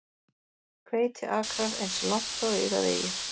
Hveitiakrar eins langt og augað eygir.